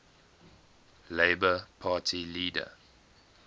labour party leader